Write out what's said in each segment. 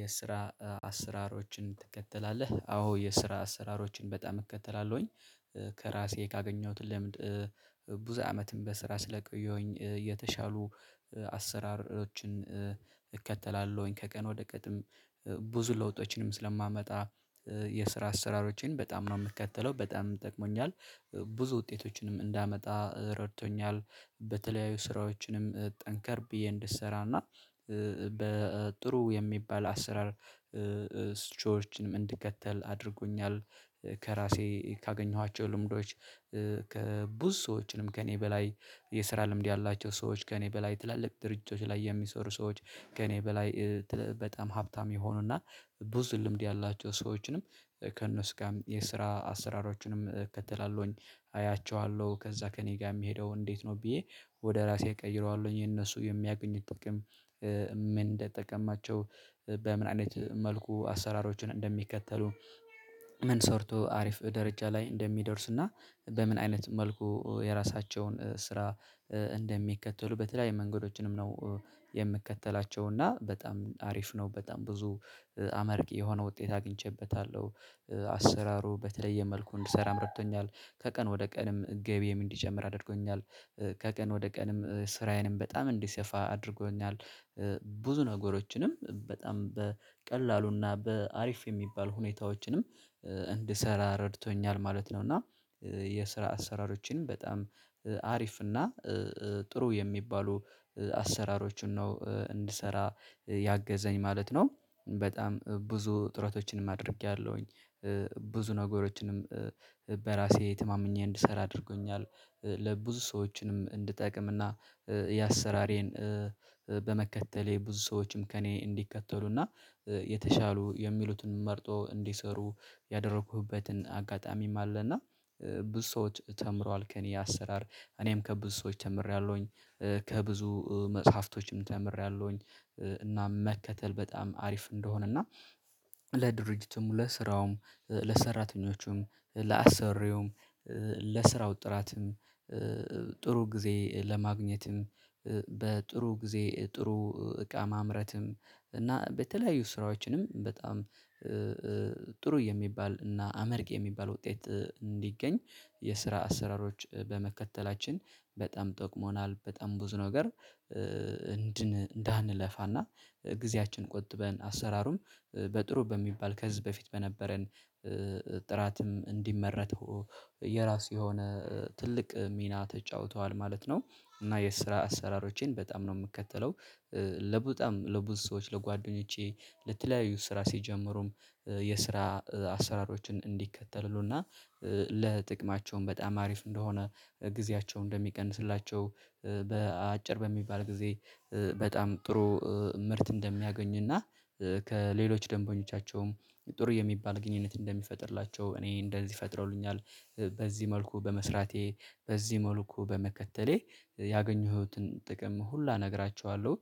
የስራ አስራሮችን ትከተላለህ? አዎ የስራ አስራሮችን በጣም እከተላለሁኝ ከራሴ ካገኘሁት ለምድ ብዙ አመትም በስራ ስለቆየሁኝ የተሻሉ አሰራሮችን እከተላለሁኝ ከቀን ወደ ቀንም ብዙ ለውጦችንም ስለማመጣ የስራ አሰራሮችን በጣም ነው የምትከተለው በጣም ጠቅሞኛል። ብዙ ውጤቶችንም እንዳመጣ ረድቶኛል በተለያዩ ስራዎችንም ጠንከር ብዬ እንድሰራ እና በጥሩ የሚባል አስራ ስቾችን ምን እንድከተል አድርጎኛል። ከራሴ ካገኘኋቸው ልምዶች ከብዙ ሰዎችንም ከእኔ በላይ የስራ ልምድ ያላቸው ሰዎች ከእኔ በላይ ትላልቅ ድርጅቶች ላይ የሚሰሩ ሰዎች ከእኔ በላይ በጣም ሀብታም የሆኑና ብዙ ልምድ ያላቸው ሰዎችንም ከእነሱ ጋር የስራ አሰራሮችንም እከተላለሁኝ። አያቸዋለሁ ከዛ ከእኔ ጋር የምሄደው እንዴት ነው ብዬ ወደ ራሴ እቀይረዋለሁኝ የነሱ የሚያገኙት ጥቅም ምን እንደጠቀማቸው በምን አይነት መልኩ አሰራሮችን እንደሚከተሉ? ምን ሰርቶ አሪፍ ደረጃ ላይ እንደሚደርስ እና። በምን አይነት መልኩ የራሳቸውን ስራ እንደሚከተሉ በተለይ መንገዶችንም ነው የምከተላቸው እና በጣም አሪፍ ነው። በጣም ብዙ አማርቂ የሆነ ውጤት አግኝቼበታለሁ። አሰራሩ በተለየ መልኩ እንድሰራ ረድቶኛል። ከቀን ወደ ቀንም ገቢዬም እንዲጨምር አድርጎኛል። ከቀን ወደ ቀንም ስራዬንም በጣም እንዲሰፋ አድርጎኛል። ብዙ ነገሮችንም በጣም በቀላሉና በአሪፍ የሚባል ሁኔታዎችንም እንድሰራ ረድቶኛል ማለት ነው። እና የስራ አሰራሮችን በጣም አሪፍ እና ጥሩ የሚባሉ አሰራሮችን ነው እንድሰራ ያገዘኝ ማለት ነው። በጣም ብዙ ጥረቶችንም አድርጌያለሁኝ ብዙ ነገሮችንም በራሴ ተማምኜ እንድሰራ አድርጎኛል። ለብዙ ሰዎችንም እንድጠቅምና እና የአሰራሬን በመከተሌ ብዙ ሰዎችም ከእኔ እንዲከተሉና የተሻሉ የሚሉትን መርጦ እንዲሰሩ ያደረኩበትን አጋጣሚም አለ። እና ብዙ ሰዎች ተምረዋል ከእኔ አሰራር እኔም ከብዙ ሰዎች ተምሬያለሁኝ። ከብዙ መጽሐፍቶችም ተምሬያለሁኝ። እና መከተል በጣም አሪፍ እንደሆነ እና ለድርጅቱም ለስራውም ለሰራተኞቹም ለአሰሪውም ለስራው ጥራትም ጥሩ ጊዜ ለማግኘትም በጥሩ ጊዜ ጥሩ እቃ ማምረትም እና በተለያዩ ስራዎችንም በጣም ጥሩ የሚባል እና አመርቂ የሚባል ውጤት እንዲገኝ የስራ አሰራሮች በመከተላችን። በጣም ጠቅሞናል። በጣም ብዙ ነገር እንዳንለፋና ጊዜያችን ቆጥበን አሰራሩም በጥሩ በሚባል ከዝህ በፊት በነበረን ጥራትም እንዲመረት የራሱ የሆነ ትልቅ ሚና ተጫውተዋል ማለት ነው። እና የስራ አሰራሮቼን በጣም ነው የምከተለው። ለበጣም ለብዙ ሰዎች ለጓደኞቼ ለተለያዩ ስራ ሲጀምሩም የስራ አሰራሮችን እንዲከተሉና ለጥቅማቸውም በጣም አሪፍ እንደሆነ ጊዜያቸው እንደሚቀንስላቸው አጭር በሚባል ጊዜ በጣም ጥሩ ምርት እንደሚያገኝና ከሌሎች ደንበኞቻቸውም ጥሩ የሚባል ግንኙነት እንደሚፈጥርላቸው እኔ እንደዚህ ፈጥረውልኛል። በዚህ መልኩ በመስራቴ በዚህ መልኩ በመከተሌ ያገኘሁትን ጥቅም ሁላ እነግራቸዋለሁ።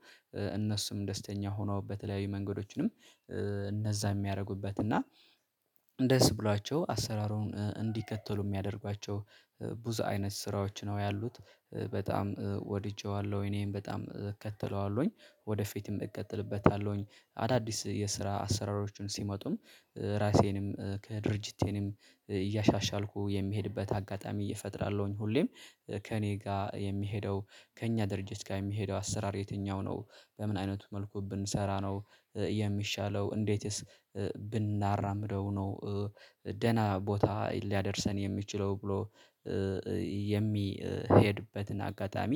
እነሱም ደስተኛ ሆኖ በተለያዩ መንገዶችንም እነዛ የሚያረጉበት እና ደስ ብሏቸው አሰራሩን እንዲከተሉ የሚያደርጓቸው ብዙ አይነት ስራዎች ነው ያሉት በጣም ወድጄዋለሁ እኔም በጣም እከተለዋለሁኝ። ወደፊትም እቀጥልበታለሁኝ። አዳዲስ የስራ አሰራሮቹን ሲመጡም ራሴንም ከድርጅቴንም እያሻሻልኩ የሚሄድበት አጋጣሚ እፈጥራለሁኝ። ሁሌም ከእኔ ጋር የሚሄደው ከእኛ ድርጅት ጋር የሚሄደው አሰራር የትኛው ነው? በምን አይነቱ መልኩ ብንሰራ ነው? የሚሻለው እንዴትስ ብናራምደው ነው? ደህና ቦታ ሊያደርሰን የሚችለው ብሎ የሚሄድበትን አጋጣሚ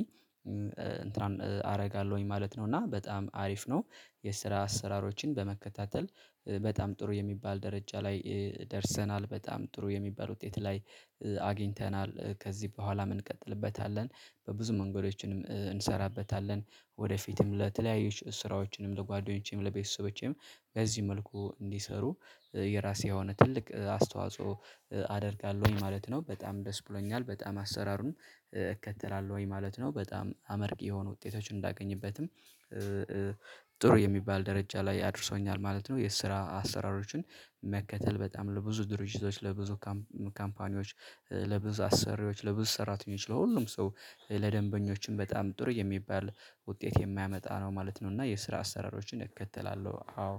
አረጋለሁኝ ማለት ነው። እና በጣም አሪፍ ነው። የስራ አሰራሮችን በመከታተል በጣም ጥሩ የሚባል ደረጃ ላይ ደርሰናል በጣም ጥሩ የሚባል ውጤት ላይ አግኝተናል። ከዚህ በኋላ ምን እንቀጥልበታለን? በብዙ መንገዶችንም እንሰራበታለን። ወደፊትም ለተለያዩ ስራዎችንም ለጓደኞቼም ለቤተሰቦቼም በዚህ መልኩ እንዲሰሩ የራሴ የሆነ ትልቅ አስተዋጽኦ አደርጋለሁኝ ማለት ነው። በጣም ደስ ብሎኛል። በጣም አሰራሩን እከተላለሁኝ ማለት ነው በጣም አመርቂ የሆኑ ውጤቶችን እንዳገኝበትም ጥሩ የሚባል ደረጃ ላይ አድርሶኛል ማለት ነው። የስራ አሰራሮችን መከተል በጣም ለብዙ ድርጅቶች ለብዙ ካምፓኒዎች ለብዙ አሰሪዎች ለብዙ ሰራተኞች ለሁሉም ሰው ለደንበኞችም በጣም ጥሩ የሚባል ውጤት የማያመጣ ነው ማለት ነው። እና የስራ አሰራሮችን እከተላለሁ አዎ